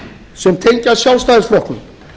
sem tengjast sjálfstæðisflokknum